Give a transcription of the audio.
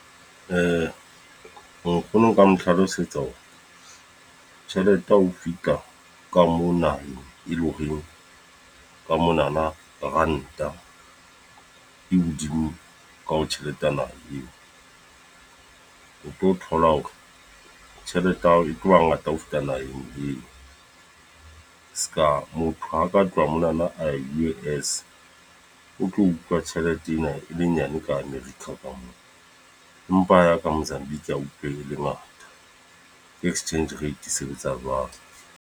Nkgono nka mo hlalosetsa hore, tjhelete ha o fihla ka mona, e leng horeng ka monana ranta e hodimo ka ho tjheletenyana eo. O tlo thola hore tjhelete ya hao e tlo ba ngata ho feta naheng eo. Seka motho haka tloha monana a ya U_S, ho tlo utlwa tjhelete ena e le nyane ka America ka moo. Empa ka Mozambique a utlwe le ngata. Ke exchange rate e sebetsa jwalo.